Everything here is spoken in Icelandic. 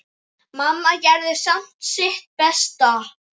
Mamma gerði samt sitt besta.